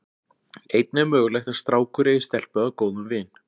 Einnig er mögulegt að strákur eigi stelpu að góðum vin.